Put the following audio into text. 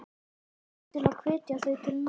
Norðurlöndunum til að hvetja þau til náms?